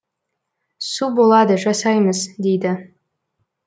су болады жасаймыз дейді